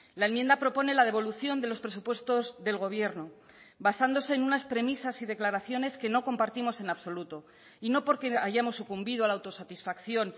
la enmienda propone la devolución de los presupuestos del gobierno basándose en unas premisas y declaraciones que no compartimos en absoluto y no porque hayamos sucumbido a la autosatisfacción